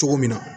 Cogo min na